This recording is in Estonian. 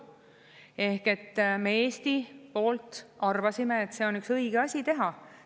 Ehk me Eesti poolt arvasime, et see on üks õige asi teha.